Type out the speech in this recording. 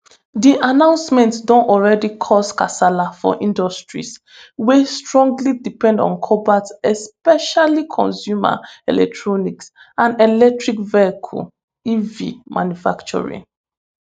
di announcement don already cause kasala for industries wey strongly depend on cobalt especially consumer electronics and electric vehicle ev manufacturing